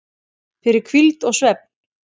fyrir hvíld og svefn